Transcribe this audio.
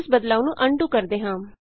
ਇਸ ਬਦਲਾਉ ਨੂੰ ਅਨਡੂ ਕਰਦੇ ਹਾਂ